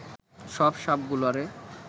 সব সাপগুলারে